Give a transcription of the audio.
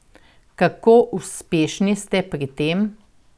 Kako uspešni ste pri tem?